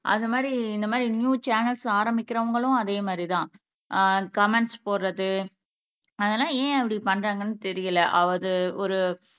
அது மாரி இந்த மாரி நியூ சேனல்ஸ் ஆரம்பிக்கிறவங்களும் அதே மாரிதான் ஆஹ் கமெண்ட்ஸ் போடுறது அதெல்லாம் ஏன் அப்படி பண்றாங்கன்னு தெரியல அது ஒரு